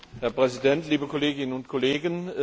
Herr Präsident, liebe Kolleginnen und Kollegen!